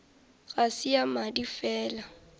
ga se ya madi fela